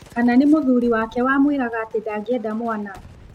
Kana nĩ mũthuri wake wamwĩraga atĩ ndangĩenda mwana?